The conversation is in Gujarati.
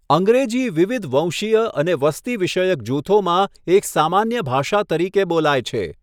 અંગ્રેજી વિવિધ વંશીય અને વસ્તી વિષયક જૂથોમાં એક સામાન્ય ભાષા તરીકે બોલાય છે.